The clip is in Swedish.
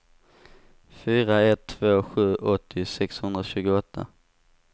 fyra ett två sju åttio sexhundratjugoåtta